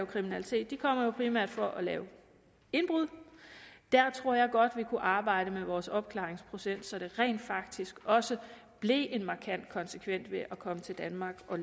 kriminalitet kommer jo primært for at lave indbrud og der tror jeg godt vi kunne arbejde med vores opklaringsprocent så der rent faktisk også blev en markant konsekvens ved at komme til danmark og